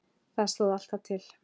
Það stóð alltaf til.